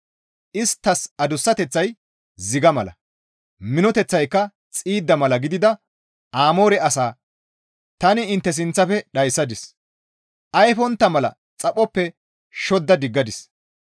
«Isttas adussateththay ziga miththa mala; minoteththayka xiidda mala gidida Amoore asaa tani intte sinththafe dhayssadis; ayfontta mala xaphoppe shodda diggadis.